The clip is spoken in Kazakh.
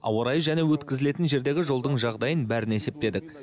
ауа райы және өткізілетін жердегі жолдың жағдайын бәрін есептедік